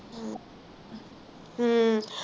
ਹਮ